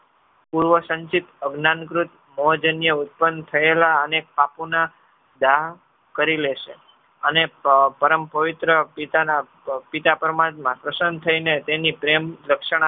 પૂર્વસંક્ષીપ અજ્ઞાનકૃત મોજન્ય ઉત્પન્ન થયેલા અને કરી લેશે અને પરમપવિત્ર પિતાના અ પિતાપરમાત્મા પ્રસન્ન થઈ ને તેમની પ્રેમ રક્ષણા